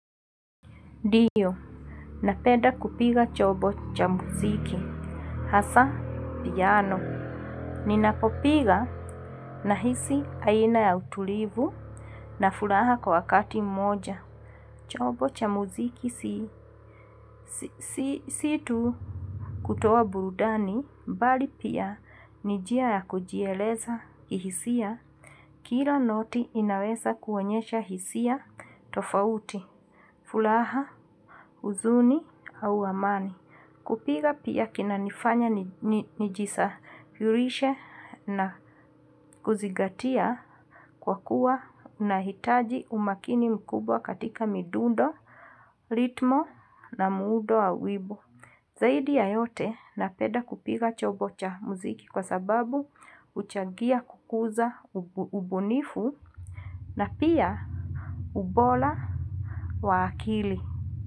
Diyo, napeda kupiga chobo cha muziki. Hasa, piano. Ninapopiga na hisi aina ya utulivu na fulaha kwa wakati mmoja. Chobo cha muziki si situ kutowa burudani. Mbali pia, ni njia ya kujieleza kihisia. Kila noti inaweza kuonyesha hisia tofauti. Fulaha, uzuni, au amani. Kupiga pia kina nifanya nijisarishe na kuzigatia kwa kuwa nahitaji umakini mkubwa katika midundo, ritmo na muudo wa wibo. Zaidi ya yote na peda kupiga chobo cha muziki kwa sababu uchagia kukuza ubunifu na pia ubola wa akili.